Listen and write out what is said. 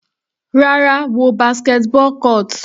Rárá, wo basketball court.